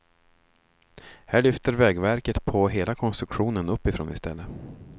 Här lyfter vägverket på hela konstruktionen uppifrån i stället.